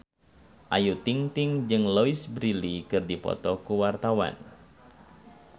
Ayu Ting-ting jeung Louise Brealey keur dipoto ku wartawan